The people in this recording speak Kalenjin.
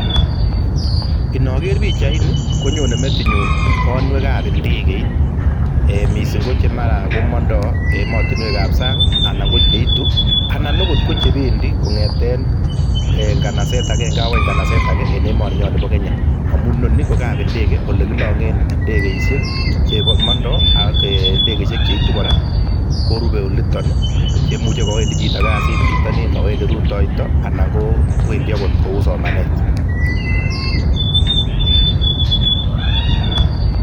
Inakeer pichaini, konyone metinyun banwekab indekeit, mising ko chemara komandai emotinwekab sang anan ko che iitu anan akot ko che pendi kong'eten nganaset agenge agoi nganaset ake eng emoninyon bo Kenya amun inoni ko kap indege ole kilang'en indegeishek chemandai ak indegeishek cheitun kora korupe oliton, cheimuche kawendi chito kasiit pitonin, kawendi rutoito anan akot kou somanet.